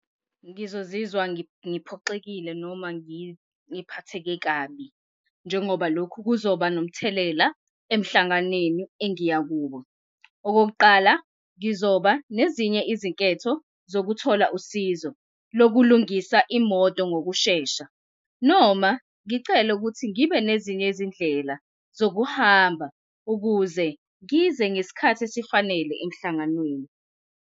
Ngizozizwa ngiphoxekile noma ngiphatheke kabi. Njengoba lokhu kuzoba nomthelela emhlanganweni engiya kuwo. Okokuqala, ngizoba nezinye izinketho zokuthola usizo lokulungisa imoto ngokushesha noma ngicele ukuthi ngibe nezinye izindlela zokuhamba ukuze ngize ngesikhathi esifanele emhlanganweni.